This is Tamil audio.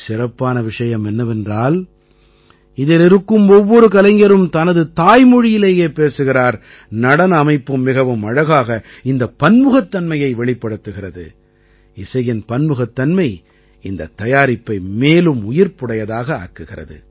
சிறப்பான விஷயம் என்னவென்றால் இதில் இருக்கும் ஒவ்வொரு கலைஞரும் தனது தாய்மொழியிலேயே பேசுகிறார் நடன அமைப்பும் மிகவும் அழகாக இந்த பன்முகத்தன்மையை வெளிப்படுத்துகிறது இசையின் பன்முகத்தன்மை இந்தத் தயாரிப்பை மேலும் உயிர்ப்புடையதாக ஆக்குகிறது